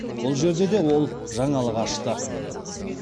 бұл жерде де ол жаңалық ашты